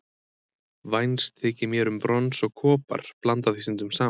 Vænst þykir mér um brons og kopar, blanda því stundum saman.